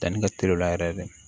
Danni ka teli o la yɛrɛ de